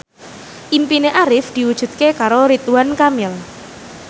impine Arif diwujudke karo Ridwan Kamil